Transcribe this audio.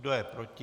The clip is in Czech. Kdo je proti?